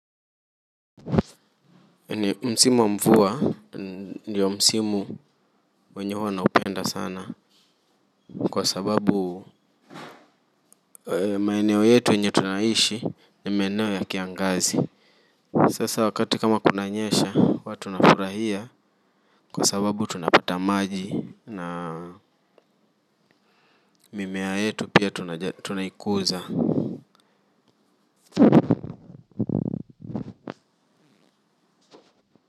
Ni msimu wa mvua ndiyo msimu wenye huwa naupenda sana kwa sababu maeneo yetu yenye tunaishi ni maeneo ya kiangazi sasa wakati kama kunanyesha huwa tunafurahia kwa sababu tunapata maji na mimea yetu pia tunaikuza po.